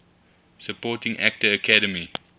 supporting actor academy